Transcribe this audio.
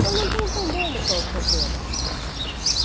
Eu não estou entendendo qual é o problema.